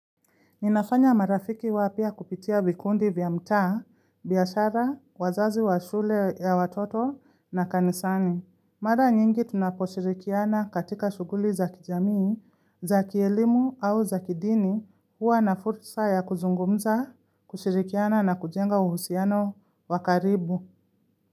Ninafanya marafiki wapya kupitia vikundi vya mtaa, biashara, wazazi wa shule ya watoto na kanisani. Mara nyingi tunaposhirikiana katika shughuli za kijamii, za kielimu au za kidini, huwa na fursa ya kuzungumza, kushirikiana na kujenga uhusiano wa karibu.